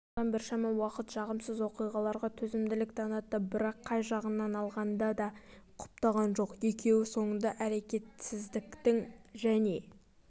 сондықтан біршама уақыт жағымсыз оқиғаларға төзімділік танытты бірақ қай жағынан алғанда да құптаған жоқ екеуі соңында әркетсіздіктің және